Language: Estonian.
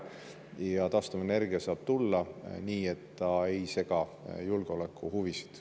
Ja taastuvenergia saab tulla nii, et ta ei sega julgeolekuhuvisid.